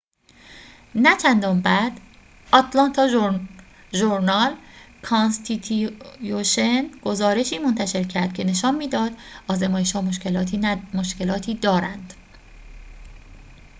نه‌چندان بعد آتلانتا ژورنال-کانستیتیوشن گزارشی منتشر کرد که نشان می‌داد آزمایش‌ها مشکلاتی دارند